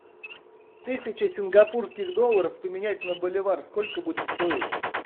тысяча сингапурских долларов поменять на боливар сколько будет стоить